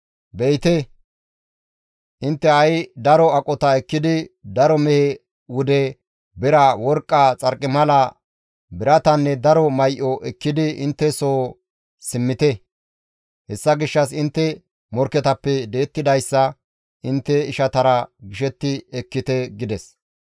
«Be7ite, intte ha7i daro aqota ekkidi, daro mehe wude, bira, worqqa, xarqimala, biratanne daro may7o ekkidi intte soo simmite. Hessa gishshas intte morkketappe di7ettidayssa, intte ishatara gishetti ekkite» gides.